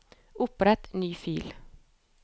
Opprett ny fil